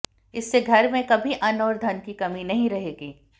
इससे घर में कभी अन्न और धन की कमी नहीं रहेगी